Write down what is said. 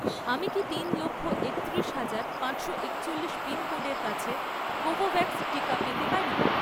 আমি কি তিন লক্ষ, একত্রিশ হাজার, পাঁচশো একচল্লিশ পিনকোডের কাছে কোভোভ্যাক্স টিকা পেতে পারি?